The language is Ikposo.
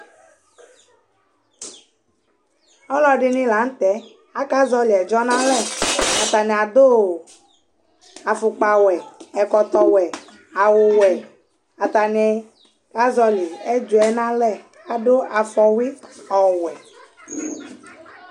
ɔlɔdini lantɛ, aka zɔli ɛdzɔ nʋ alɛ, atani adʋ aƒʋkpa wɛ, ɛkɔtɔ wɛ, awʋ wɛ, atani ka zɔli ɛdzɔɛ nʋ alɛ, adʋ aƒɔwi awʋ wɛ